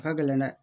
A ka gɛlɛn dɛ